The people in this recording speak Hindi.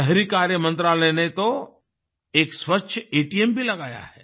शहरी कार्य मंत्रालय ने तो एक स्वच्छ एटीएम भी लगाया है